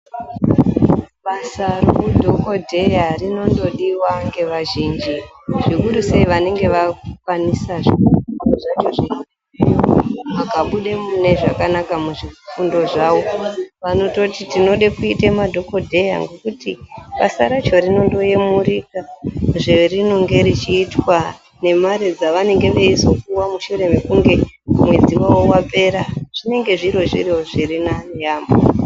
Basa reudhokodheya rinongodiwa neazhinji .Zvekuru sei vanenge vakukwanisa zviro zvacho zviriyo ,vakabude zvakanaka muzvidzidzo zvavo .Vanototi tinode kuite madhokodheya ngokuti basa racho rinongoyemurika zvarinenge richiitwa ,nemare dzavanenge veizopuwa mushure mekunge mwedzi wavo wapera .Zvinenge zviri zviro zvirinane yaambo.